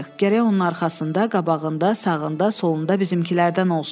Gərək onun arxasında, qabağında, sağında, solunda bizimkilər də olsun.